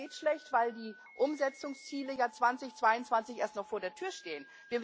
Ich weiß, das geht schlecht, weil die Umsetzungsziele 2022 ja erst noch vor der Tür stehen.